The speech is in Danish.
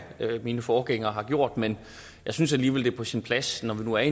mine forgængere har gjort men jeg synes alligevel det er på sin plads når vi nu er